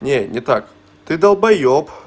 нет не так ты долбаёб